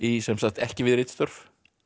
sem sagt ekki við ritstörf